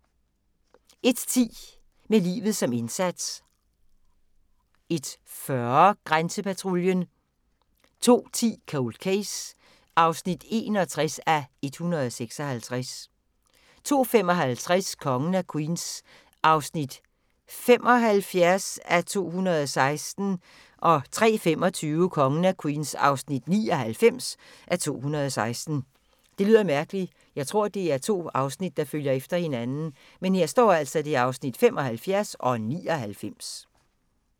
01:10: Med livet som indsats 01:40: Grænsepatruljen 02:10: Cold Case (61:156) 02:55: Kongen af Queens (75:216) 03:25: Kongen af Queens (99:216)